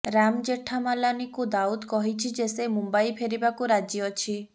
ରାମ ଜେଠାମଲାନୀକୁ ଦାଉଦ କହିଛି ଯେ ସେ ମୁମ୍ବାଇ ଫେରିବାକୁ ରାଜି ଅଛି